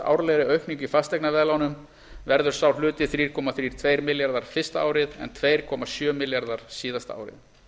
árlegri aukningu í fasteignaveðlánum verður sá hluti þrjú komma þrjátíu og tveir milljarðar fyrsta árið en tvö komma sjö milljarðar síðasta